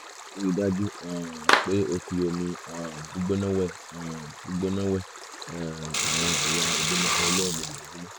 ríi dájú um pé o fi omi um gbígbóná wẹ um gbígbóná wẹ um àwọn ẹ̀yà ìbímọ rẹ lẹ́ẹ̀mejì lójúmọ́